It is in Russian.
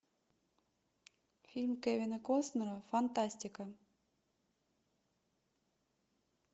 фильм кевина костнера фантастика